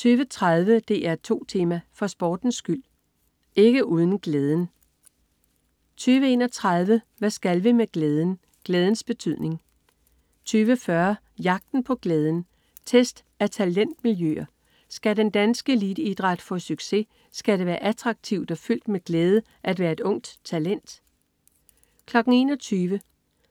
20.30 DR2 Tema: For sportens skyld, ikke uden glæden 20.31 Hvad skal vi med glæden? Glædens betydning 20.40 Jagten på glæden. Test af talentmiljøer. Skal den danske eliteidræt få succes, skal det være attraktivt og fyldt med glæde at være et ungt talent 21.00